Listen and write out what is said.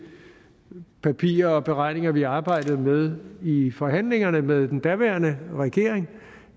papirer og beregninger vi arbejdede med i forhandlingerne med den daværende regering